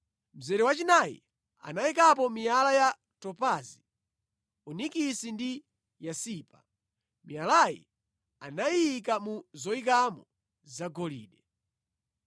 mzere wachinayi anayikapo miyala ya topazi, onikisi ndi yasipa. Miyalayi anayiyika mu zoyikamo zagolide.